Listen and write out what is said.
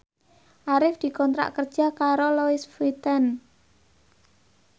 Arif dikontrak kerja karo Louis Vuitton